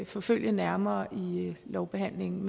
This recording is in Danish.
forfølge nærmere i lovbehandlingen